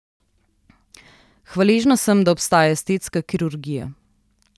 Hvaležna sem, da obstaja estetska kirurgija.